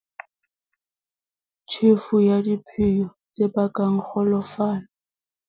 Tjhefo ya diphiyo, tse bakang kgolofalo.